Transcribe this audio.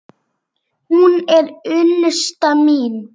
Hún er unnusta mín!